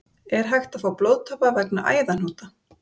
Er hægt að fá blóðtappa vegna æðahnúta?